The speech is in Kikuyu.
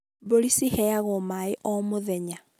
mbũri ciheagwo maĩ o mũthenya